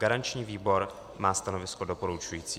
Garanční výbor má stanovisko doporučující.